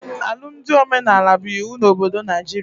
Alụmdi omenala bụ iwu na obodo Naijiria